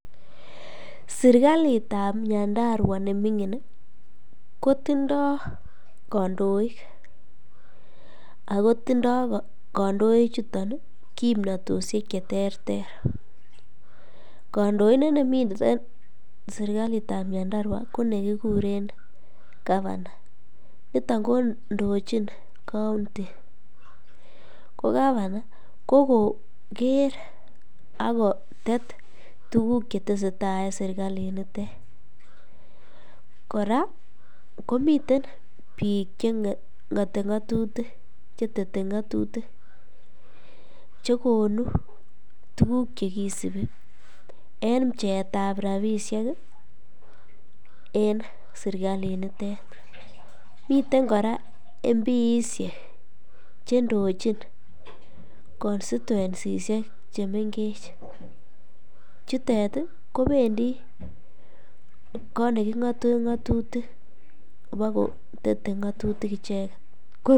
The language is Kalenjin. Serikalitab Nyandarua neming'in kotindo kondoik ak kotindo kondoi chuton kimnotoshek cheterter, kondoindet nemiten serikalitab Nyandarua ko nekikuren gavana, niton kondochin county, ko gavana ko koker ak kotet tukuk cheteseta en serikalit nitet, kora komiten biik cheng'ote ng'otutik chetete ng'otutik che konuu tukuk chekisibi en pcheeetab rabishek en sirkalinitet, miten kora mp ishek chendochin constintuensishek chemeng'ech, chutet ko bendi koot neking'oten ng'otutik kobo kotete ng'otutik icheket.